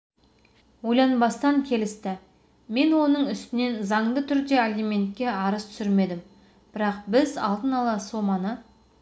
ойланбастан келісті мен оның үстінен заңды түрде алиментке арыз түсірмедім бірақ біз алдын ала соманы